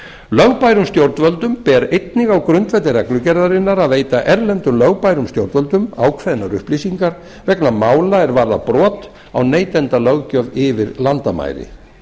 lögbærum stjórnvöldum ber einnig á grundvelli reglugerðarinnar að veita erlendum lögbærum stjórnvöldum ákveðnar upplýsingar vegna mála er varða brot á neytendalöggjöf yfir landamæri